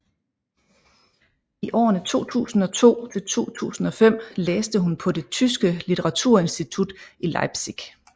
I årene 2002 til 2005 læste hun på det tyske litteraturinstitut i Leipzig